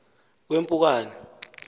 kwempukane